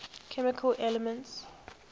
chemical elements